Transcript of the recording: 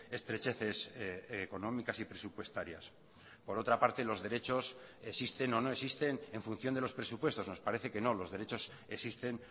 estrecheces económicas y presupuestarias por otra parte los derechos existen o no existen en función de los presupuestos nos parece que no los derechos existen